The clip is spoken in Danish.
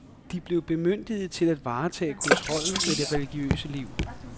De blev bemyndiget til at varetage kontrollen med det religiøse liv.